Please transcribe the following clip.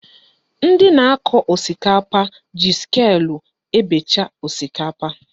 Ndị na-akọ osikapa ji sịkulụ ebecha osikapa